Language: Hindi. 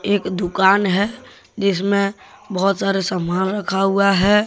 एक दुकान है जिसमे बहुत सारे सामान रखा हुआ हैं।